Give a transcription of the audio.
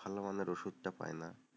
ভালো মানের ওষুধটা পাই না,